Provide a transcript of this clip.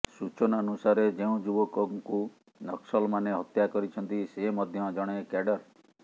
ସୂଚନାନୁସାରେ ଯେଉଁ ଯୁବକଙ୍କୁ ନକ୍ସଲମାନେ ହତ୍ୟା କରିଛନ୍ତି ସେ ମଧ୍ୟ ଜଣେ କ୍ୟାଡର୍